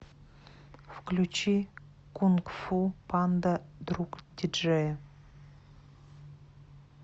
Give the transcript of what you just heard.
включи кунг фу панда другдиджея